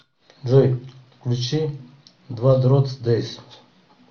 джой включи двадротс дэйс